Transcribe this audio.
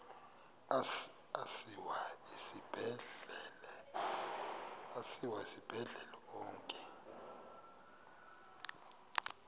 asiwa esibhedlele onke